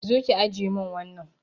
Zo ki ajiye mun wannan